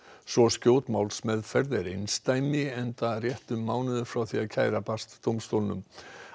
svo skjót málsmeðferð er einsdæmi enda rétt um mánuður frá því kæra barst dómstólnum